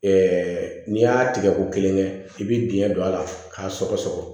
n'i y'a tigɛ ko kelen kɛ i bi biyɛn don a la k'a sɔgɔsɔgɔ